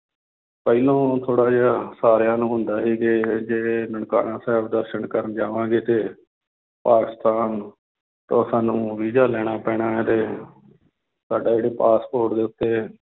ਪਹਿਲਾਂ ਥੋੜ੍ਹਾ ਜਿਹਾ ਸਾਰਿਆਂ ਨੂੰ ਹੁੰਦਾ ਸੀ ਕਿ ਇਹ ਜੇ ਨਨਕਾਣਾ ਸਾਹਿਬ ਦਰਸਨ ਕਰਨ ਜਾਵਾਂਗੇ ਤੇ ਪਾਕਿਸਤਾਨ ਤਾਂ ਸਾਨੂੰ ਵੀਜ਼ਾ ਲੈਣਾ ਪੈਣਾ ਹੈ ਤੇ ਸਾਡਾ ਜਿਹੜਾ ਪਾਸਪੋਰਟ ਦੇ ਉੱਤੇ